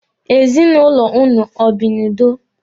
Ezinụlọ ụnụ o bi n'udo.